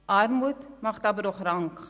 Armut macht aber auch krank.